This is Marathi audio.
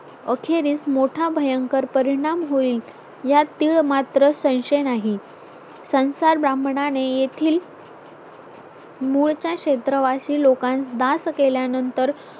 अखेरीस मोठा भयंकर परिणाम होईल यात तीळ मात्र संशय नाही संसार ब्राह्मणाने येथील मूळच्या क्षेत्रवासी लोकांस दास केल्यानंतर